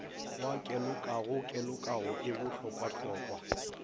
wa kelokago kelokago e bohlokwahlokwa